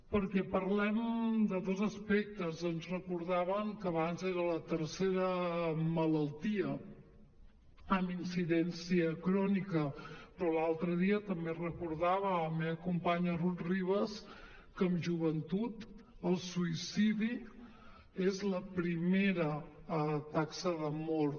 perquè parlem de dos aspectes ens recordaven abans que era la tercera malaltia amb incidència crònica però l’altre dia també recordava la meva companya rut ribas que en joventut el suïcidi és la primera taxa de mort